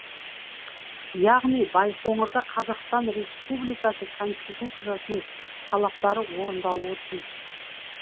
яғни байқоңырда қазақстан республикасы конституциясының талаптары орындалуы тиіс